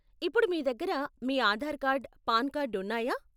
ఇప్పుడు మీ దగ్గర మీ ఆధార్ కార్డ్, పాన్ కార్డ్ ఉన్నాయా?